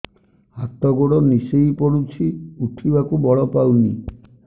ହାତ ଗୋଡ ନିସେଇ ପଡୁଛି ଉଠିବାକୁ ବଳ ପାଉନି